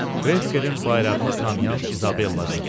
Krekkerin bayrağını tanıyan İzabella dedi.